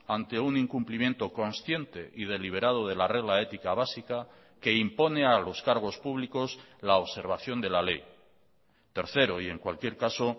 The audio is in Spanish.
ante un incumplimiento consciente y deliberado de la regla ética básica que impone a los cargos públicos la observación de la ley tercero y en cualquier caso